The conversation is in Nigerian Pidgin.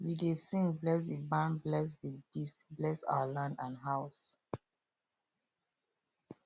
we dey sing bless the barn bless the beast bless our land and house